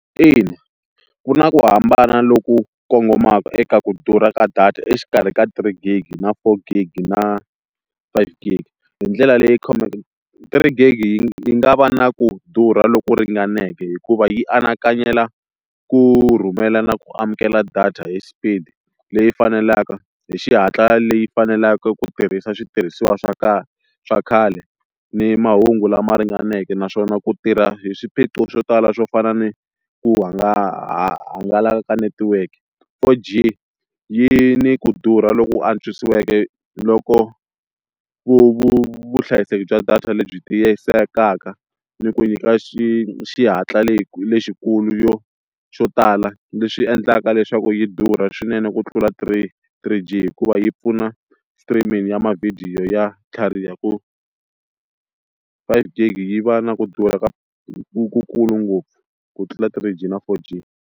Ina ku na ku hambana loku kongomaka eka ku durha ka data exikarhi ka three gigi na four gigi na five gigi, hi ndlela leyi three gigi yi nga va na ku durha loku ringaneke hikuva yi anakanyela ku rhumelana ku amukela data hi speed leyi fanelaka hi xihatla leyi faneleke ku tirhisa switirhisiwa swa swa khale ni mahungu lama ringaneke, naswona ku tirha hi swiphiqo swo tala swo fana ni ku ku hangalaka ka netiweke, four G yi ni ku durha lo ku antswisiweke loko vu vu vuhlayiseki bya data lebyi tiyisekaka ni ku nyika xi xihatla lexikulu yo xo tala leswi endlaka leswaku yi durha swinene ku tlula three three G hikuva yi pfuna streaming ya mavhidiyo ya tlhariha ku five gigi yi va na ku durha ku ku kulu ngopfu ku tlula three G na four G.